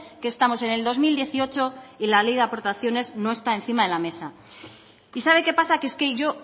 que estamos en el dos mil dieciocho y la ley de aportaciones no está encima de la mesa y sabe qué pasa que es que yo